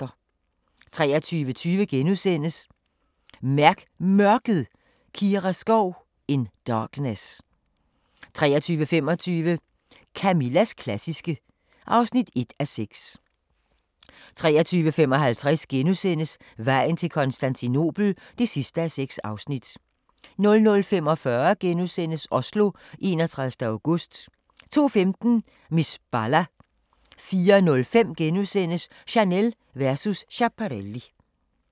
23:20: Mærk Mørket: Kira Skov "In darkness" 23:25: Camillas klassiske (1:6) 23:55: Vejen til Konstantinopel (6:6)* 00:45: Oslo, 31. august * 02:15: Miss Bala 04:05: Chanel versus Schiaparelli *